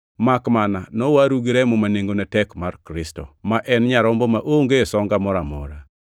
makmana nowaru gi remo ma nengone tek mar Kristo, ma en Nyarombo maonge songa moro amora.